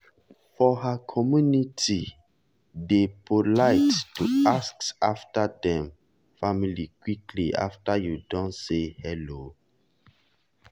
for her communitye dey polite to ask after dem family quickly after you don say hello.